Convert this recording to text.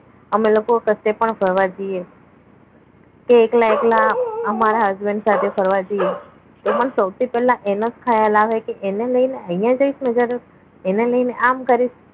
અમે લોકો પાસે પણ ફરવા જઇએ તે એકલા એકલા અમારા husband સાથે ફરવા જઇએ તો અમન સૌથી પહેલા એનો જ ખયાલ આવે કે એને લઈને અહીંયા જઈશ એને લઈને આમ કરીશ